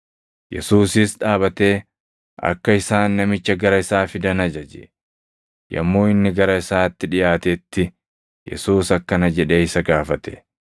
Yesuusis dhaabatee akka isaan namicha gara isaa fidan ajaje. Yommuu inni gara isaatti dhiʼaatetti Yesuus akkana jedhee isa gaafate;